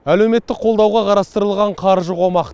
әлеуметті қолдауға қарастырылған қаржы қомақ